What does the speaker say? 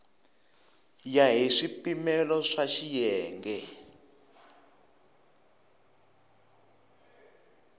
ya hi swipimelo swa xiyenge